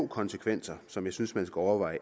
konsekvenser som jeg synes man skal overveje